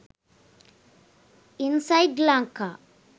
inside lanka